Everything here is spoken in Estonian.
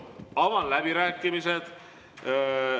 Avan läbirääkimised.